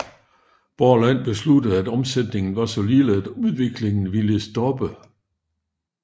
Borland besluttede at omsætningen var så lille at udviklingen ville stoppe